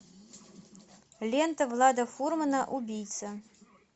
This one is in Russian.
лента влада фурмана убийца